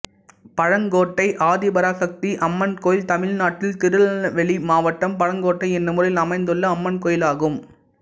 பழங்கோட்டை ஆதிபராசக்தி அம்மன் கோயில் தமிழ்நாட்டில் திருநெல்வேலி மாவட்டம் பழங்கோட்டை என்னும் ஊரில் அமைந்துள்ள அம்மன் கோயிலாகும்